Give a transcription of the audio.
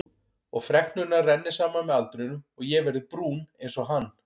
Og freknurnar renni saman með aldrinum og ég verði brún einsog hann.